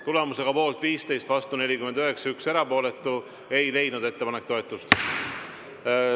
Tulemusega poolt 15, vastu 49 ja 1 erapooletu, ei leidnud ettepanek toetust.